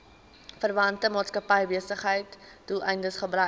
verwante maatskappybesigheidsdoeleindes gebruik